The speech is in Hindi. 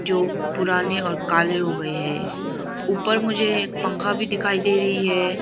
जो पुराने और काले हो गए हैं ऊपर मुझे एक पंखा भी दिखाई दे रही है।